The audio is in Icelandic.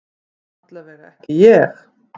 Allavega ekki ég.